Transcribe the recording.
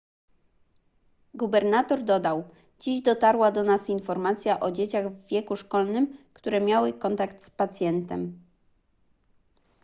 gubernator dodał dziś dotarła do nas informacja o dzieciach w wieku szkolnym które miały kontakt z pacjentem